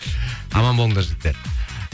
аман болыңдар жігііттер